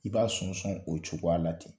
I b'a sɔnsɔn o cogoya la ten.